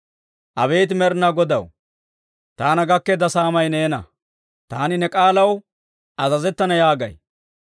Abeet Med'inaa Godaw, taana gakkeedda saamay neena; taani ne k'aalaw azazettana yaagay.